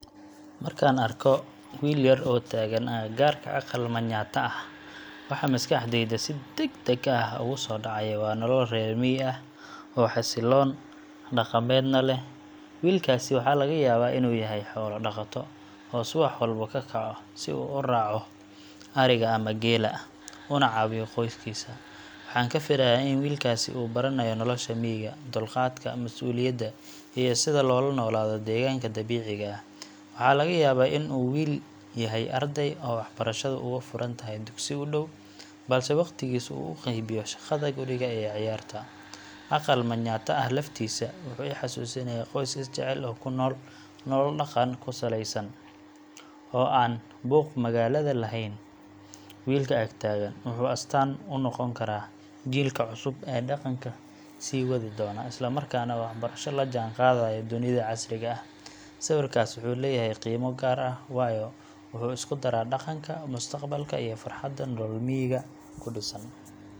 Marka aan arko wiil yar oo taagan agagaarka aqal Manyatta ah, waxa maskaxdayda si degdeg ah ugu soo dhacaya waa nolol reer miyi ah oo xasiloon, dhaqameedna leh. Wiilkaas waxaa laga yaabaa inuu yahay xoolo dhaqato, oo subax walba ka kaco si uu u raaco adhiga ama geela, una caawiyo qoyskiisa. Waxaan ku fikiraa in wiilkaasi uu baranayo nolosha miyiga –dulqaadka, masuuliyadda, iyo sida loola noolaado deegaanka dabiiciga ah. Waxaa laga yaabaa in uu wali yahay arday, oo waxbarashadu uga furan tahay dugsi u dhow, balse waqtigiisa uu u qaybiyo shaqada guriga iyo ciyaarta. Aqal Manyatta ah laftiisa wuxuu xasuusinayaa qoys is jecel oo ku nool nolol dhaqan ku saleysan, oo aan buuq magaalada lahayn. Wiilka ag taagan wuxuu astaan u noqon karaa jiilkii cusub ee dhaqanka sii wadi doona, isla markaana waxbarasho la jaanqaadaya dunida casriga ah. Sawirkaas wuxuu leeyahay qiimo gaar ah, waayo wuxuu isku daraa dhaqanka, mustaqbalka iyo farxadda nolol miyiga ku dhisan.